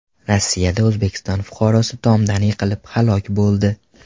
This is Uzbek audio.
Rossiyada O‘zbekiston fuqarosi tomdan yiqilib halok bo‘ldi.